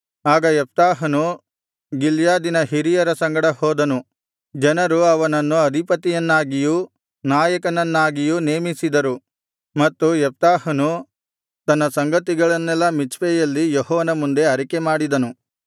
ಆಗ ಯೆಪ್ತಾಹನು ಗಿಲ್ಯಾದಿನ ಹಿರಿಯರ ಸಂಗಡ ಹೋದನು ಜನರು ಅವನನ್ನು ಅಧಿಪತಿಯನ್ನಾಗಿಯೂ ನಾಯಕನನ್ನಾಗಿಯೂ ನೇಮಿಸಿದರು ಮತ್ತು ಯೆಪ್ತಾಹನು ತನ್ನ ಸಂಗತಿಗಳನ್ನೆಲ್ಲಾ ಮಿಚ್ಪೆಯಲ್ಲಿ ಯೆಹೋವನ ಮುಂದೆ ಅರಿಕೆಮಾಡಿದನು